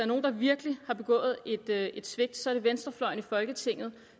nogen der virkelig har begået et svigt så er det venstrefløjen i folketinget